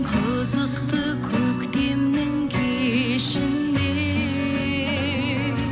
қызықты көктемнің кешіндей